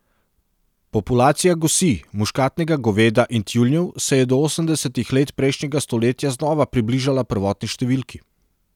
Populacija gosi, muškatnega goveda in tjulnjev se je do osemdesetih let prejšnjega stoletja znova približala prvotni številki.